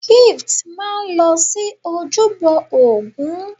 Gift máa lọ sí ojúbọ ògún.